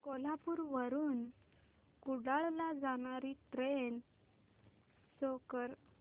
कोल्हापूर वरून कुडाळ ला जाणारी ट्रेन शो कर